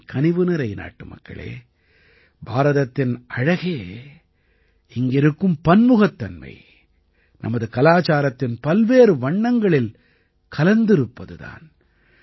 என் கனிவுநிறை நாட்டுமக்களே பாரதத்தின் அழகே இங்கிருக்கும் பன்முகத்தன்மை நமது கலாச்சாரத்தின் பல்வேறு வண்ணங்களில் கலந்திருப்பது தான்